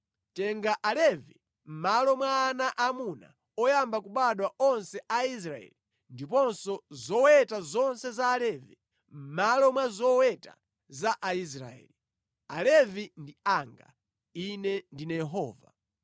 “Tenga Alevi mʼmalo mwa ana aamuna oyamba kubadwa onse a Aisraeli, ndiponso zoweta zonse za Alevi mʼmalo mwa zoweta za Aisraeli. Alevi ndi anga. Ine ndine Yehova.